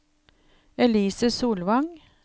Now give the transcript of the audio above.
Elise Solvang